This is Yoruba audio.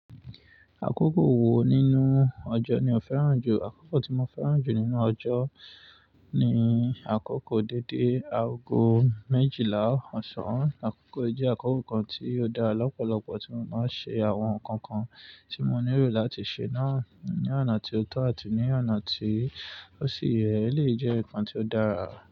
Akókò wo nínú ọjọ́ ni o fẹ́ràn jù? Akókò tí mo fẹ́ràn jù nínú ọjọ́ ni àkókò dédé, aago méjìlá ọ̀sán. Àkókò yí jẹ́ àkókò kan tí ó dára lọ́pọ̀lọpọ̀ tí mo máa ń ṣe àwọn nǹkan kan tí mo nílò láti ṣe náà, ní ọ̀nà tíó tọ́ àti ní ọ̀nà tí ó sì yẹ̀ elé yi jẹ́ nǹkan tí ó dára.